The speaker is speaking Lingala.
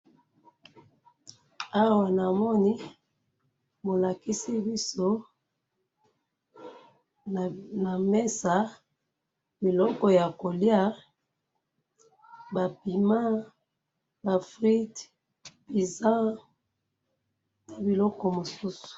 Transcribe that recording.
Awa na moni, bolakisi biso na mesa biloko ya kolia, ba piment, ba fruites, pizza na biloko mosusu.